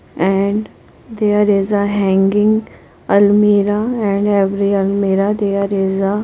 And there is a hanging almirah and every almirah there is a --